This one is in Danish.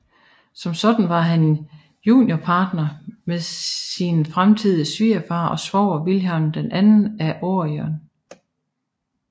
Som sådan var han juniorpartner med sin fremtidige svigerfar og svoger Vilhelm II af Oranien